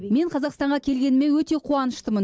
мен қазақстанға келгеніме өте қуаныштымын